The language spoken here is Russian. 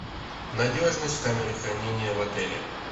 надежность камеры хранения в отеле